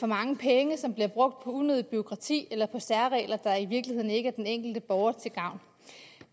mange penge som bliver brugt på unødigt bureaukrati eller på særregler der i virkeligheden ikke er den enkelte borger til gavn